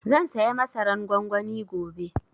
Zan saya masaran gwangwani gobe